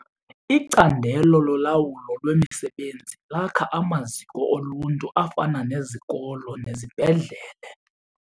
Icandelo lolawulo lwemisebenzi lakha amaziko oluntu afana nezikolo nezibhedlele.